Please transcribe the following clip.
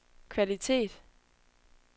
kvalitet